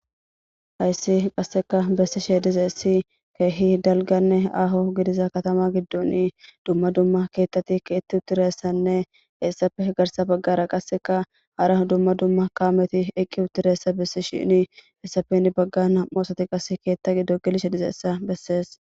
hayssi qassekka bessishe dizayssi keehi dalganne aaho gidiza katama giddon dumma dumma keettati kee7etti uttidayssanne hayssappe heni baggara nam77u asati keetta giddo gelishe de7iyayssa bessees